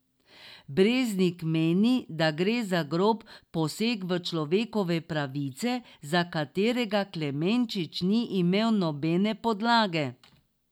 Breznik meni, da gre za grob poseg v človekove pravice, za katerega Klemenčič ni imel nobene podlage.